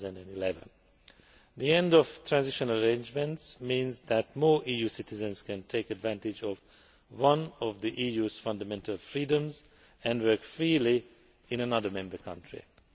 2011. The end of transitional arrangements means that more EU citizens can take advantage of one of the EU's fundamental freedoms and work freely in another Member State.